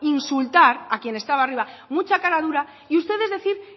insultar a quien estaba arriba mucha cara dura y ustedes decir